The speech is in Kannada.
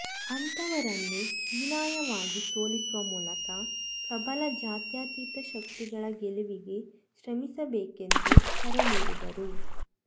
ಅಂತಹವರನ್ನು ಹೀನಾಯವಾಗಿ ಸೋಲಿಸುವ ಮೂಲಕ ಪ್ರಬಲ ಜಾತ್ಯತೀತ ಶಕ್ತಿಗಳ ಗೆಲುವಿಗೆ ಶ್ರಮಿಸಬೇಕೆಂದು ಕರೆ ನೀಡಿದರು